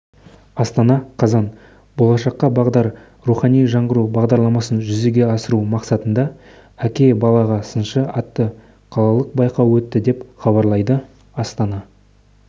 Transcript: астана қазан болашаққа бағдар рухани жаңғыру бағдарламасын жүзеге асыру мақсатында әке балаға сыншы атты қалалық байқау өтті деп хабарлайды астана